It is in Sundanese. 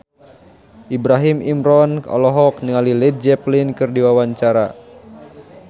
Ibrahim Imran olohok ningali Led Zeppelin keur diwawancara